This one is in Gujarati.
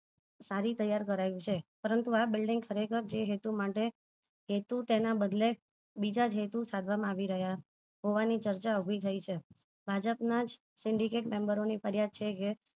સારી ત્યાર કરાઈ છે પરંતુ આ building ખરેખર જે હેતુ માટે હેતુ તેના બદલે બીજા જ હેતુ સાધવા મા આવી રહ્યા હોવાની ચર્ચા ઉભી થઇ છે ભાજપ ના syndicate member ઓ ની ફરિયાદ છે કે